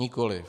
Nikoli.